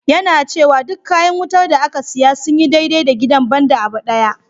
Yana cewa duk kayan wutar da aka siya sun yi dai-dai da gidan, ban da abu ɗaya.